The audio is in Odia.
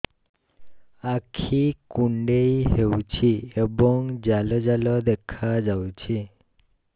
ଆଖି କୁଣ୍ଡେଇ ହେଉଛି ଏବଂ ଜାଲ ଜାଲ ଦେଖାଯାଉଛି